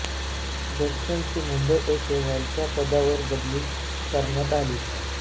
जॅक्सनची मुंबई येथे वरच्या पदावर बदली करण्यात आली